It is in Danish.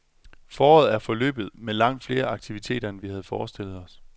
Foråret er forløbet med langt flere aktiviteter, end vi havde forestillet os.